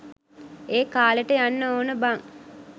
ඒ කාලෙට යන්න ඕන බං.